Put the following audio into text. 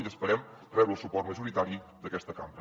i esperem rebre el suport majoritari d’aquesta cambra